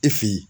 E fin